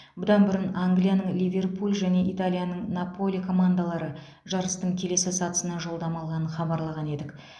бұдан бұрын англияның ливерпуль және италияның наполи командалары жарыстың келесі сатысына жолдама алғанын хабарлаған едік